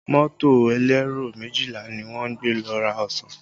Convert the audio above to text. Mọ́tò elero méjìlá ni wọ́n gbé lọ ra ọsàn